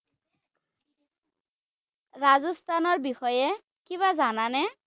ৰাজস্থানৰ বিষয়ে কিবা জানানে?